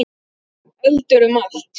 Eldur um allt.